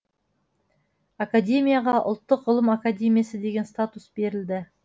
академияға ұлттық ғылым академиясы деген статус берілді